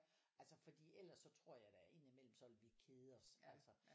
Altså fordi ellers så tror jeg da ind i mellem så ville vi kede os altså